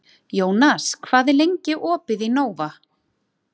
Jónas, hvað er lengi opið í Nova?